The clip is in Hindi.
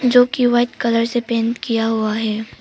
जो की वाइट कलर से पेंट किया हुआ है।